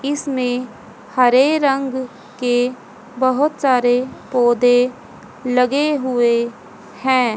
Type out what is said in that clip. इसमें हरे रंग के बहोत सारे पौधे लगे हुए हैं।